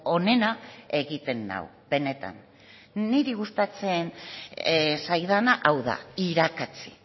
onena egiten nau benetan niri gustatzen zaidana hau da irakatsi